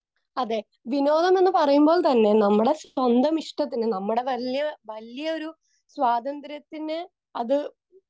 Speaker 2 അതെ. വിനോദം എന്ന് പറയുമ്പോൾത്തന്നെ നമ്മുടെ സ്വന്തം ഇഷ്ടത്തിന്, നമ്മുടെ വല്യ, വല്യ ഒരു സ്വാതന്ത്ര്യത്തിന് അത്